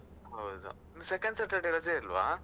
ಹೌದು, second Saturday ರಜೆ ಇಲ್ವಾ.